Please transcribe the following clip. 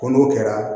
Ko n'o kɛra